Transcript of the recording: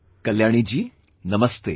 Kalyani ji, Namaste